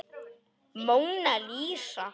Móna Lísa.